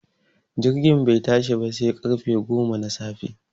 Jirgin bai tashi ba sai ƙarfe goma na safe